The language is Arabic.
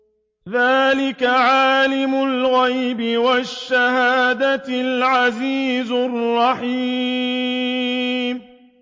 ذَٰلِكَ عَالِمُ الْغَيْبِ وَالشَّهَادَةِ الْعَزِيزُ الرَّحِيمُ